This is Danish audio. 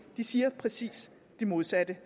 de siger at præcis det modsatte